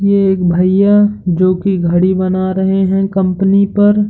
ये एक भैया जोकि घड़ी बना रहे है कंपनी पर --